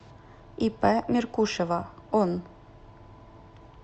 ип меркушева он